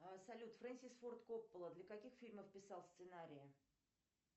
салют фрэнсис форд коппола для каких фильмов писал сценарий